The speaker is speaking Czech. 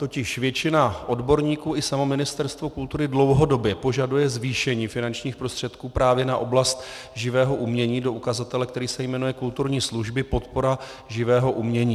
Totiž většina odborníků i samo Ministerstvo kultury dlouhodobě požaduje zvýšení finančních prostředků právě na oblast živého umění do ukazatele, který se jmenuje kulturní služby podpora živého umění.